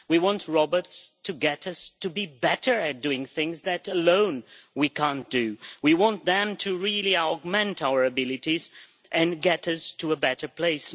we want robots to get us to be better at doing things that we can't do alone. We want them to really augment our abilities and get us to a better place.